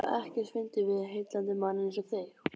Það er ekkert fyndið við heillandi mann einsog þig.